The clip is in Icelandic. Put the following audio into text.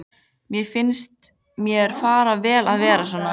Mér finnst þér fara vel að vera svona.